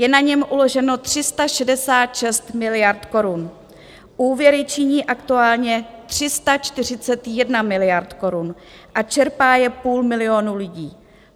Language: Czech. Je na něm uloženo 366 miliard korun, úvěry činí aktuálně 341 miliard korun a čerpá je půl milionu lidí.